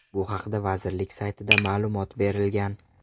Bu haqda vazirlik saytida ma’lumot berilgan.